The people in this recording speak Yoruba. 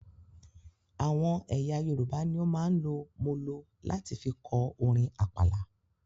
Àwọn ẹyà Yorùbá ní o máa ń lò molo láti fí kọ orin àpàlà